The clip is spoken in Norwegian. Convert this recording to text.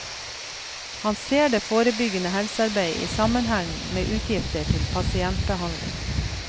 Han ser det forebyggende helsearbeid i sammenheng med utgifter til pasientbehandling.